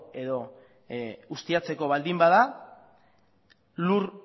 edo ustiatzeko baldin bada lur